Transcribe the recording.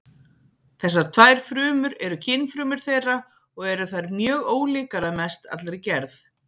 Þessar tvær frumur eru kynfrumur þeirra og eru þær mjög ólíkar að mest allri gerð.